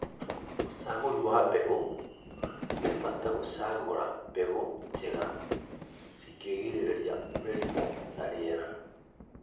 ũcagũri wa mbegũ: Nĩ bata gũcagũra mbegũ njega cingĩtiria mĩrimũ na rĩera